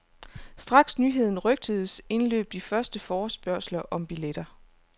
Straks nyheden rygtedes, indløb de første forespørgsler om billetter.